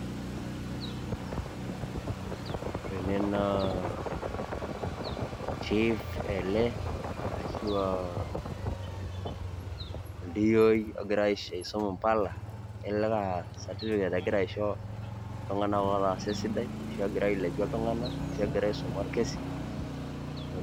ore ele naa chief ,ashu aa oidiyio ogira asum impala kelelek aa certificate egira aisho itung'anak ootasa esidai.